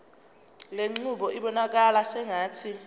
lenqubo ibonakala sengathi